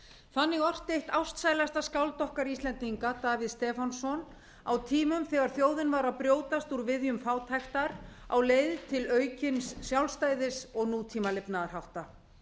þannig orti eitt ástsælasta skáld okkar íslendinga davíð stefánsson á tímum þegar þjóðin var að brjótast úr viðjum fátæktar á leið til aukins sjálfstæðis og nútíma lifnaðarhátta